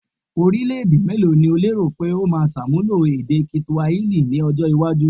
Orílẹ̀-èdè mélòó ni o lérò pé ó máa ṣàmúlò èdè kiswahili ní ọjọ́-iwájú?